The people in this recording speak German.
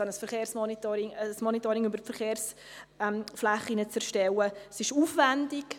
Ein Monitoring über die Verkehrsflächen zu erstellen, ist eine Herausforderung.